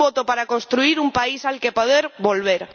Un voto para construir un país al que poder volver.